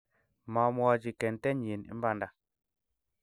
mamwochi kintenyin imanda